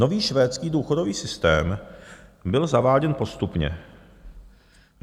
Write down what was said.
Nový švédský důchodový systém byl zaváděn postupně.